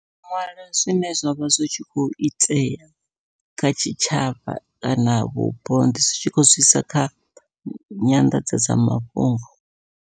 U ṅwala zwine zwavha zwi tshi kho itea kha tshitshavha kana vhupo ndi tshi kho sedza kha nyanḓadzamafhungo.